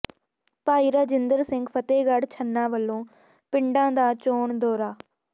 ਭਾਈ ਰਾਜਿੰਦਰ ਸਿੰਘ ਫ਼ਤਿਹਗੜ੍ਹ ਛੰਨਾ ਵੱਲੋਂ ਪਿੰਡਾਂ ਦਾ ਚੋਣ ਦੌਰਾ